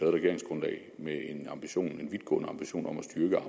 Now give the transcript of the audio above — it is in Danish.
regeringsgrundlag med en ambition en vidtgående ambition om at styrke